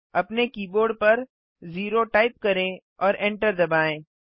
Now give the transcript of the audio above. अपने कीबोर्ड पर 0 टाइप करें और एंटर दबाएँ